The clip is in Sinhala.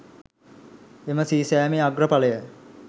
එම සී සෑමේ අග්‍රඵලය